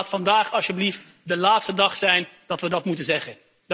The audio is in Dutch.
Laat vandaag alsjeblieft de laatste dag zijn dat we dit moeten zeggen.